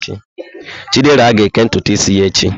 Chidera ga-eke ntutu isi ya echi.